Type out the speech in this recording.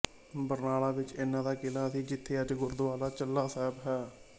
ਬਰਨਾਲਾ ਵਿਚ ਇਹਨਾਂ ਦਾ ਕਿਲਾ ਸੀ ਜਿੱਥੇ ਅੱਜ ਗੁਰਦੁਆਰਾ ਚੁੱਲ੍ਹਾ ਸਾਹਿਬ ਹੈ